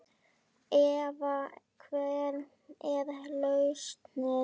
Eva: Hver er lausnin?